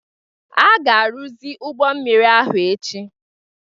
A ga-arụzi ụgbọ mmiri ahụ echi